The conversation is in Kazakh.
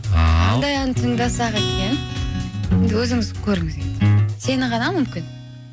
ал қандай ән тыңдасақ екен енді өзіңіз көріңіз енді сені ғана мүмкін